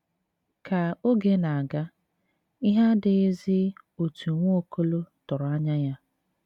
Ka oge na - aga, ihe adịghịzi otú Nwaokolo tụrụ anya ya.